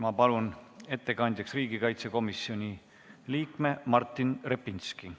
Ma palun ettekandjaks riigikaitsekomisjoni liikme Martin Repinski.